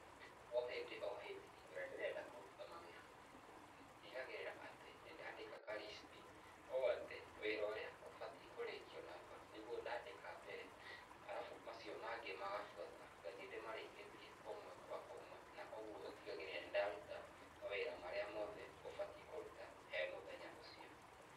O hĩndĩ o hĩndĩ, hingo ĩrĩa ndĩrenda kũruta mawĩra makwa, ndigagĩrĩra atĩ, nĩndaandĩka ka list, ũũ atĩ, wĩra ũrĩa ũbatiĩ kũrĩkio narua, nĩguo ndaandĩka mbere, arabu macio mangĩ magabuata, ngathiĩ ndĩmarĩkĩtie ũmwe kwa ũmwe, na ũguo ũtigagĩrĩra nĩ ndaruta mawĩra marĩa mothe ngũbatiĩ kũruta he mũthenya ũcio.